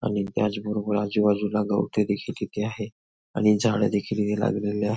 आणि त्याच बरोबर आजूबाजूला गवते देखील किती आहे आणि झाडं देखील लागलेली आहे.